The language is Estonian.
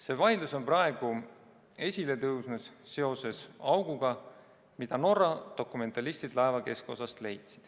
See vaidlus on praegu esile tõusnud seoses auguga, mille Norra dokumentalistid leidsid laeva keskosast.